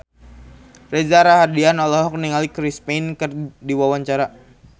Reza Rahardian olohok ningali Chris Pane keur diwawancara